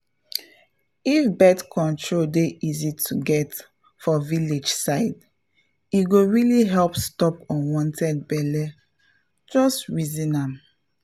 if birth control dey easy to get for village side e go really help stop unwanted belle — just reason am.